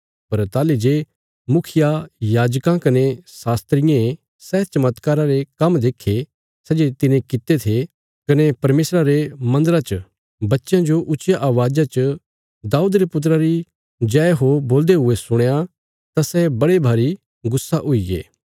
पर ताहली जे मुखियायाजकां कने यहूदी शास्त्रियें सै चमत्कारा रे काम्म देक्खे सै जे तिने कित्ते थे कने परमेशरा रे मन्दरा च बच्चयां जो ऊच्चिया अवाज़ा च दाऊद रे पुत्रा री जय हो बोलदे हुये सुणया तां सै बड़े भरी गुस्सा हुईगे